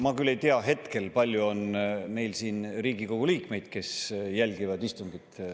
Ma küll ei tea hetkel, kui palju on Riigikogu liikmeid, kes meid jälgivad.